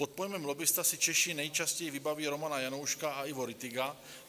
Pod pojmem lobbista si Češi nejčastěji vybaví Romana Janouška a Ivo Rittiga.